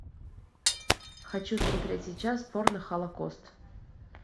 хочу смотреть сейчас порно холокост